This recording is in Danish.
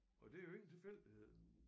Og det jo ikke en tilfældighed